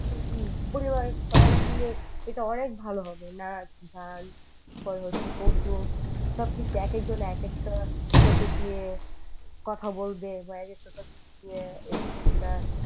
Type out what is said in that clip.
পরিবারের সবাই মিলে এটা অনেক ভালো হবে নাচ গান কৌতুক সবকিছু এক একজন এক একটা topic নিয়ে কথা বলবে দিয়ে বা ক একটা topic নিয়ে এই জিনিসটা